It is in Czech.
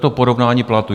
To porovnání platů.